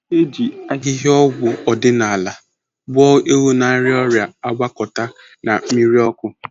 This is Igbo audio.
E ji ahịhịa ọgwụ ọdịnala gwọọ ewu na-arịa ọrịa agwakọta na mmiri ọkụ.